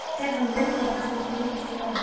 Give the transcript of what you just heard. Stefán rumdi eitthvað sem átti að líkjast jáyrði.